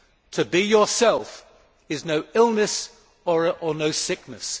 To be yourself is no illness and no sickness.